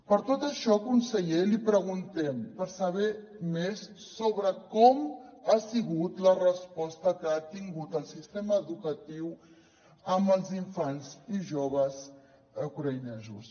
per tot això conseller li preguntem per saber més sobre com ha sigut la resposta que ha tingut el sistema educatiu amb els infants i joves ucraïnesos